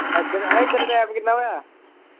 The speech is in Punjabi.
ਏਧਰ, ਏਧਰ time ਕਿੰਨਾ ਹੋਇਆ।